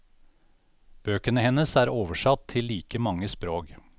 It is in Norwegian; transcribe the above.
Bøkene hennes er oversatt til like mange språk.